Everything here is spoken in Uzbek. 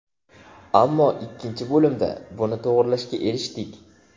Ammo ikkinchi bo‘limda buni to‘g‘rilashga erishdik.